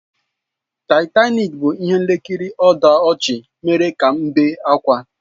Taịtanik bụ ihe nkiri ọdachi mere ka m bee ákwà.